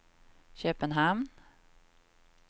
Köpenhamn